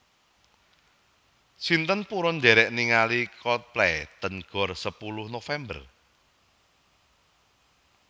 Sinten purun ndherek ningali Coldplay teng Gor Sepuluh November?